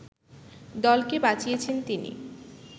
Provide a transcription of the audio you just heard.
দলকে বাঁচিয়েছেন তিনি